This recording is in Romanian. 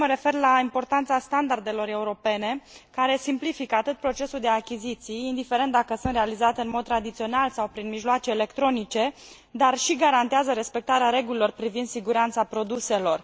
Vreau să mă refer la importanța standardelor europene, care simplifică procesul de achiziții, indiferent dacă sunt realizate în mod tradițional sau prin mijloace electronice și garantează respectarea regulilor privind siguranța produselor.